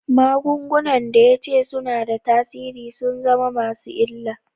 Magungunan da ya ce suna da tasiri sun zama masu illa.